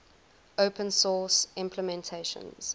open source implementations